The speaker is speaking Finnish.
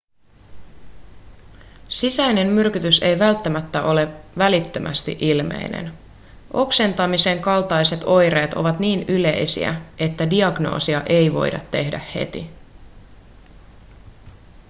sisäinen myrkytys ei välttämättä ole välittömästi ilmeinen oksentaminen kaltaiset oireet ovat niin yleisiä että diagnoosia ei voida tehdä heti